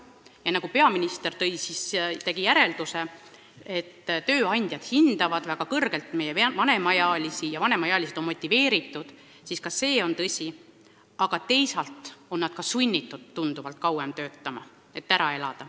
Ja kui peaminister tegi sellest järelduse, et tööandjad hindavad väga kõrgelt meie vanemaealisi ja vanemaealised on motiveeritud, siis see on tõsi, aga teisalt on meie pensionärid ka sunnitud tunduvalt kauem töötama, et ära elada.